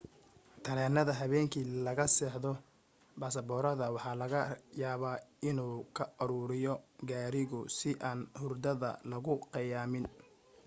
tareenada habeenkii laga seexdo basaboorada waxa laga yaaba inuu ka aruriyo karigu si aan hurdada laguu khiyaamin